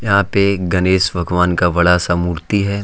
यहां पे गणेश भगवान का बड़ा सा मूर्ति है।